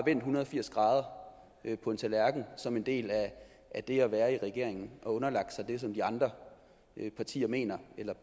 en hundrede og firs grader på en tallerken som en del af det at være i regering og har underlagt sig det som de andre partier mener eller